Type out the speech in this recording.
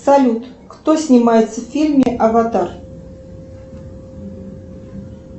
салют кто снимается в фильме аватар